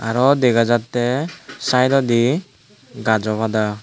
araw dega jatte sayedodi gajaw pada.